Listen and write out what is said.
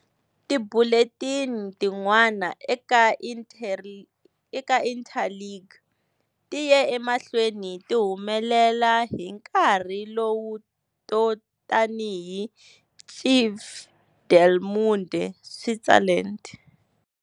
Tibulletin tin'wana eka Interlingue ti ye emahlweni ti humelela hi nkarhi lowu to tanihi Cive del Munde Switzerland.